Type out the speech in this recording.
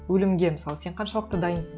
өлімге мысалы сен қаншалықты дайынсың